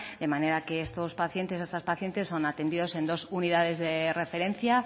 de manera que estos pacientes y estas pacientes son atendidos en dos unidades de referencia